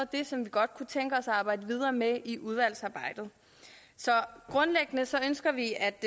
det som vi godt kunne tænke os at arbejde videre med i udvalgsarbejdet så grundlæggende ønsker vi at